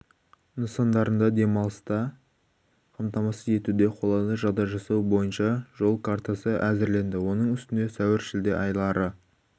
нысандарында демалысты қамтамасыз етуде қолайлы жағдай жасау бойынша жол картасы әзірленді оның үстіне сәуір-шілде айлары